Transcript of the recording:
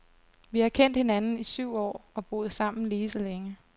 Vi har kendt hinanden i syv år og boet sammen lige så længe.